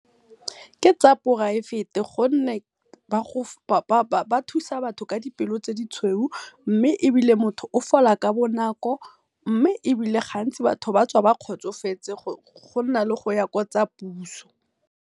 Ke tsa poraefete gonne ba thusa batho ka dipelo tse di tshweu mme ebile motho o fola ka bonako mme gantsi batho batswa ba kgotsofetse go na le goya ko tsa puso.